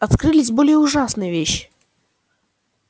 открылись более ужасные вещи